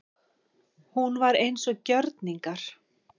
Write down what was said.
Hún var eins og gjörningar.